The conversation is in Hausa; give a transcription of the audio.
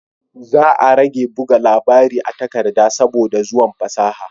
Za a rage buga labari a takarda saboda zuwan fasaha